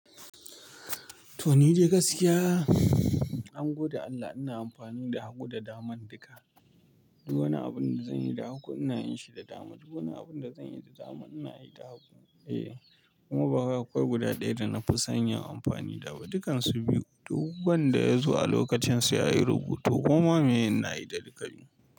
To ni dai gaskiya angode Allah ina amfani da hagu da daman duka. Duk wani abun da zan yi da hagu ina yin shi da dama duk wani abun da zan yi da dama ina yi da hagu. Eh kuma ba wai akwai guda ɗaya da na fi san yin amfani da ba dukansu biyu. Duk wanda ya zo a lokacin sai a yi rubutu koma miye ina yi da duka biyu.